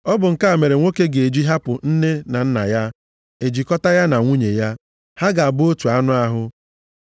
Ọ bụ nke a mere nwoke ga-eji hapụ nne na nna ya, e jikọta ya na nwunye ya, ha ga-abụ otu anụ ahụ.